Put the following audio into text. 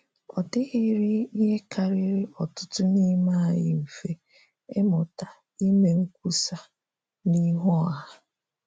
Ọ dịghịrị ihe kariri ọtụtụ n’ime anyị mfe, ịmụta ime nkwusa n’ihu ọha.